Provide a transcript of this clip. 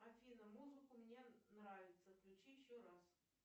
афина музыку мне нравится включи еще раз